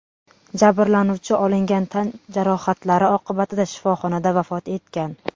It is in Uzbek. Jabrlanuvchi olingan tan jarohatlari oqibatida shifoxonada vafot etgan.